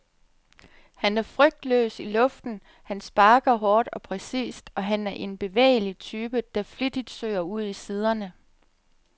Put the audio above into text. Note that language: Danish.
Han er frygtløs i luften, han sparker hårdt og præcist, og han er en bevægelig type, der flittigt søger ud i siderne.